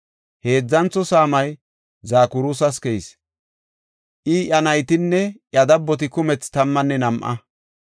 Heedzantho saamay Zakuras keyis; I, iya naytinne iya dabboti kumethi tammanne nam7a.